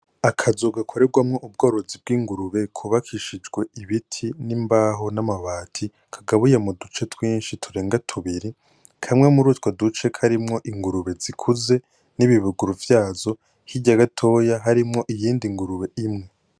Akazu gakorerwamwo ubworozi bw'ingurube kubakishijwe ibiti n'imbaho n'amabati, kagabuye mu duce twinshi turenga tubiri, kamwe muri utwo duce kari ingurube zikuze n'ibibuguru vyazo, hirya gatoya harimwo iyindi ngurube imwe.